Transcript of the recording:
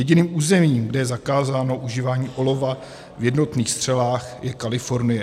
Jediným územím, kde je zakázáno užívání olova v jednotných střelách, je Kalifornie.